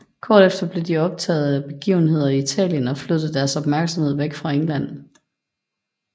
Kort efter blev de optaget af begivenheder i Italien og flyttede deres opmærksomhed væk fra England